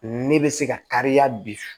Ne bɛ se ka kariya bi